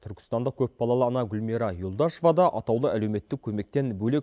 түркістандық көпбалалы ана гулмира юлдашева да атаулы әлеуметтік көмектен бөлек